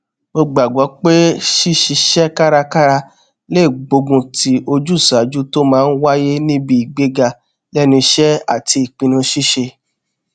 mo gbàgbó pé ṣíṣiṣẹ kárakára lè gbógunti ojúṣàájú tó máa n wáyé níbi ìgbéga lẹnu iṣẹ àti ìpinnu ṣíṣe